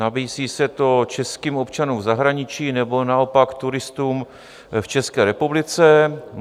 Nabízí se to českým občanům v zahraničí nebo naopak turistům v České republice.